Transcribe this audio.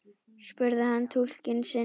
spurði hann túlkinn sinn.